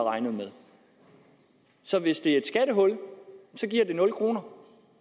regnet med så hvis det er et skattehul giver det nul kroner